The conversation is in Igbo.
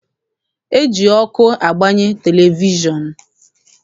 E ji ọkụ agbanye televishọn.